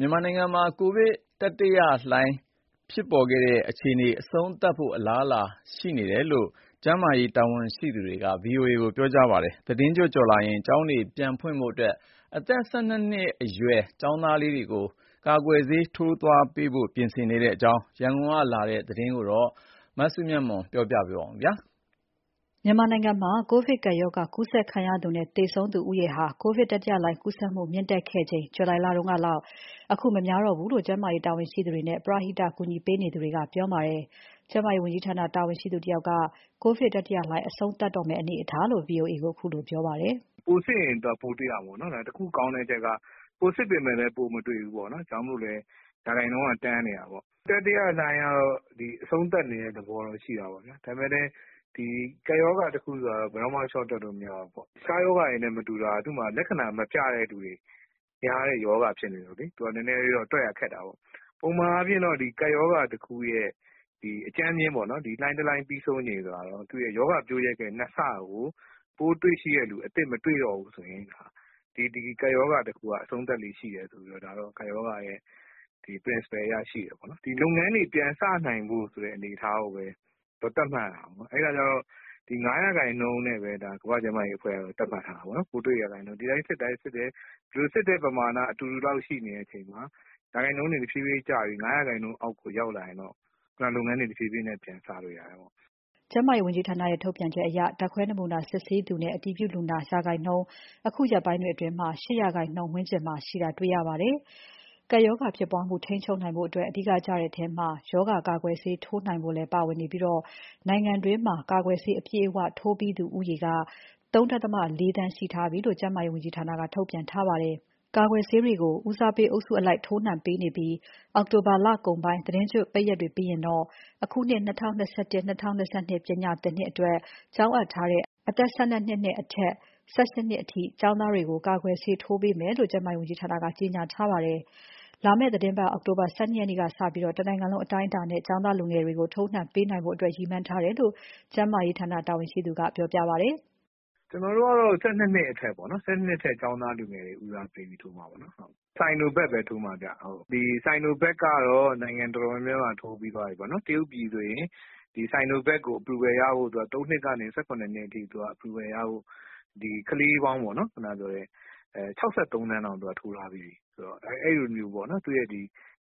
မြန်မာနိုင်ငံမှာ ကူးစက်ဖြစ်ပွားနေတဲ့ ကပ်ရောဂါတတိယလှိုင်း အဆုံးသတ်တော့မယ့် အလားအလာရှိနေပြီလို့ ကျန်းမာရေးဌာန တာဝန်ရှိသူက ဗီအိုအေကို ပြောပါတယ်။ သီတင်းကျွတ်ကျော်ရင် ကျောင်းတွေပြန်ဖွင့်နိုင်ဖို့အတွက် အသက် ၁၂နှစ်အရွယ် ကျောင်းသားလူငယ်တွေကိုလည်း ကာကွယ်ဆေးစထိုးပေးဖို့ ပြင်ဆင်နေတဲ့အကြောင်း ရန်ကုန်ကလာတဲ့ သတင်းကို မစုမြတ်မွန် က ပြောပြမှာပါ။ မြန်မာနိုင်ငံမှာ ကိုဗစ်ကပ်ရောဂါကူးစက်ခံရသူနဲ့ သေဆုံးသူဦးရေဟာ ကိုဗစ်တတိယလှိုင်း ကူးစက်သူမြင့်တက်ခဲ့ချိန်ကလောက် အခု မများတောဘူးလို့ ကျန်းမာရေးတာဝန်ရှိသူတွေနဲ့ ကူညီပေးနေသူတွေက ပြောပါတယ်။ ကျန်းမာရေးဝန်ကြီးဌာန တာဝန်ရှိသူတဦးက ကိုဗစ်တတိယလှိုင်း အဆုံးသတ်တော့မယ့် အနေအထားလို့ VOA ကိုပြောပါတယ်။ "ပိုစစ်ရင် ပိုတွေ့ရတာပေါ့နော်။ ဒါပေမယ့် တခုကောင်းတဲ့အချက်က ပိုစစ်ပေမယ့်လည်း ပိုမတွေ့ဘူးပေါ့နော်။ ဒါကြောင့်မို့လည်း ရာခိုင်နှုန်းက တန်းနေတာပေါ့။ တတိယလှိုင်းကတော့ အဆုံးသတ်နေတဲ့ သဘောတော့ရှိတာပေါ့ဗျာ။ ဒါပေမယ့်လည်း ဒီကပ်ရောဂါတခုဆိုတာကတော့ ဘယ်တော့မှ လျှော့တွက်လို့မရဘူးပေါ့။ တခြားရောဂါတွေနဲ့မတူတာက သူ့မှာလက္ခဏာမပြတဲ့သူတွေ များတဲ့ရောဂါဖြစ်နေတော့လေ သူကနည်းနည်းလေးတော့ တွက်ရခက်တာပေါ့။ ပုံမှန်အားဖြင့်တော့ ကပ်ရောဂါတခုရဲ့ အကြမ်းဖျဉ်းပေါ့နော်၊ ဒီလှိုင်းတလှိုင်း ပြီးဆုံးချိန်ဆိုတာကတော့ သူ့ရဲ့ရောဂါပျိုးရက်ရဲ့ ၂ ဆကို ပိုးတွေ့ရှိတဲ့သူ အသစ်မတွေ့တော့ဘူးဆိုရင် ဒီကပ်ရောဂါတခုက အဆုံးသတ်လေ့ရှိတယ်ဆိုပြီးတော့ ကပ်ရောဂါရဲ့ principle အရ ရှိတယ်ပေါ့နော်။ ဒီလုပ်ငန်းတွေ ပြန်စနိုင်ဖို့ဆိုတဲ့ အနေအထားကိုပဲ သတ်မှတ်ရတာပေါ့။ အဲအခါကျတော့ ဒီ ၅ ရာခိုင်နှုန်းနဲ့ပဲ ကမ္ဘာ့ကျန်းမာရေးအဖွဲ့ကတော့ သတ်မှတ်ထားတာပေါ့နော်။ ပိုးတွေ့ရာခိုင်နှုန်းကို စစ်တဲ့ပမာဏအတူတူလောက် ရှိနေချိန်မှာ ရာခိုင်နှုန်းတွေ တဖြည်းဖြည်းကျပြီး ၅ ရာခိုင်နှုန်းအောက်ကို ရောက်လာရင်တော့ လုပ်ငန်းတွေ တဖြည်းဖြည်းပြန်စလို့ ရတယ်ပေါ့။" ကျန်းမာရေးဝန်ကြီးဌာနရဲ့ ထုတ်ပြန်ချက်အရ ဓါတ်ခွဲနမူနာ စစ်ဆေးသူနဲ့ အတည်ပြုလူနာ ရာခိုင်နှုန်း တချို့ဖော်ပြချက်တွေအရ ၈ ရာခိုင်နှုန်းဝန်းကျင်မှာ ရှိတာတွေ့ရပါတယ်။ ကပ်ရောဂါဖြစ်ပွားမှု ထိန်းချုပ်နိုင်ဖို့အတွက် အဓိကကျတဲ့အထဲမှာ ရောဂါကာကွယ်ဆေး ထိုးနှံနိုင်ဖို့လည်း ပါဝင်နေပြီး နိုင်ငံတွင်းမှာ ကာကွယ်ဆေး အပြည့်အဝ ထိုးပြီးသူဦးရေက ၃.၉ သန်း ရှိထားပြီလို့ ကျန်းမာရေးဝန်ကြီးဌာနက ထုတ်ပြန်ထားပါတယ်။ ကာကွယ်ဆေးတွေကို ဦးစားပေးအုပ်စုအလိုက် ထိုးနှံပေးနေပြီး အောက်တိုဘာ လကုန်ပိုင်း သီတင်းကျွတ်ပိတ်ရက်တွေပြီးရင်တော့ အခုနှစ် ၂၀၂၁ - ၂၂ ပညာသင်နှစ်အတွက် ကျောင်းအပ်ထားတဲ့ အသက် ၁၂ နှစ်အထက်နဲ့ အသက် ၁၈နှစ်အရွယ်အောက် ကျောင်းသားတွေကို ကာကွယ်ဆေး ထိုးနှံပေးတော့မယ်လို့ ကျန်းမာရေးဝန်ကြီးဌာနက ကြေညာထားပါတယ်။ လာမယ့်သီးတင်းပါတ် အောက်တိုဘာ ၁၂ ရက်ကနေစပြီး တနိုင်ငံလုံးအတိုင်းအတာနဲ့ ကျောင်းသားလူငယ်တွေကို ထိုးနှံပေးနိုင်ဖို့အတွက် ရည်မှန်းထားတယ်လို့ ကျန်းမာရေးဝန်ကြီးဌာန တာဝန်ရှိသူက ဆက်ပြောပါတယ်။ "ကျနော်တို့ကတော့ ၁၂ နှစ်အထက်ပေါ့နော်။ ၁၂ နှစ်အထက် ကျောင်းသားလူငယ်တွေကို ဦးစားပေးပြီး ထိုးမှာပေါ့နော်။ Sinovac ပဲ ထိုးမှာဗျ။ ဒီ Sinovac ကတော့ နိုင်ငံတော်တော်များများမှာ ထိုးပြီးသွားပြီပေါ့နော်။ တရုတ်ပြည်ဆိုရင် ဒီ Sinovac ကို ၃ နှစ်ကနေ ၁၇ နှစ်အထိ approval ရဖို့ ကလေးပေါင်း ၆၃ သန်းတောင် သူကထိုးထားပြီးပြီဆိုတော့ အဲလိုမျိုးပေါ့နော်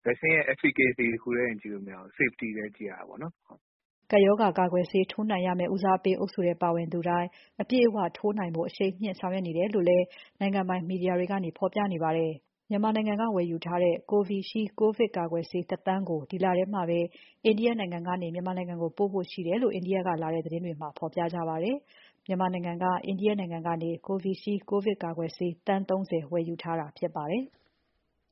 Vaccine ရဲ့ efficacy တခုတည်းတင် ကြည့်လို့မရဘူး၊ safety လည်း ကြည့်ရတာပေါ့နော်။" ကပ်ရောဂါကာကွယ်ဆေး ထိုးနှံရမယ့် ဦးစားပေးအုပ်စုထဲ ပါသူတွေတိုင်း အပြည့်အဝထိုးနှံဖို့ကို အရှိန်မြှင့်ဆောင်ရွက်နေတယ်လို့လည်း နိုင်ငံပိုင်မီဒီယာတွေကနေ ဖော်ပြနေပါတယ်။ မြန်မာနိုင်ငံက ဝယ်ယူထားတဲ့ Covishield ကိုဗစ်ကာကွယ်ဆေး ၁ သန်းကို ဒီလထဲမှာပဲ အိန္ဒိယကနေ မြန်မာနိုင်ငံကို ပို့ဖို့ရှိတယ်လို့ အိန္ဒိယကလာတဲ့သတင်းတွေမှာ ဖော်ပြပါတယ်။ မြန်မာနိုင်ငံက Covishield ကိုဗစ်ကာကွယ်ဆေး သန်း ၃၀ ဝယ်ယူထားတာဖြစ်ပါတယ်။